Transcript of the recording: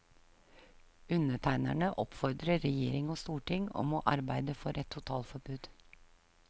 Undertegnerne oppfordrer regjering og storting om å arbeide for et totalforbud.